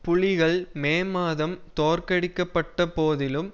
புலிகள் மே மாதம் தோற்கடிக்கப்பட்ட போதிலும்